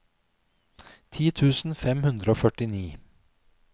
ti tusen fem hundre og førtini